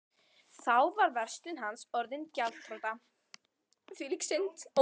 Þá var verslun hans orðin gjaldþrota.